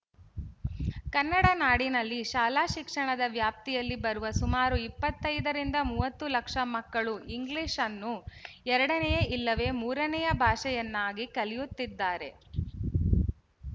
ಕನ್ನಡ ನಾಡಿನಲ್ಲಿ ಶಾಲಾಶಿಕ್ಷಣದ ವ್ಯಾಪ್ತಿಯಲ್ಲಿ ಬರುವ ಸುಮಾರು ಇಪ್ಪತ್ತ್ ಐದರಿಂದ ಮೂವತ್ತು ಲಕ್ಷ ಮಕ್ಕಳು ಇಂಗ್ಲಿಶ್‌ನ್ನು ಎರಡನೆಯ ಇಲ್ಲವೇ ಮೂರನೆಯ ಭಾಷೆಯನ್ನಾಗಿ ಕಲಿಯುತ್ತಿದ್ದಾರೆ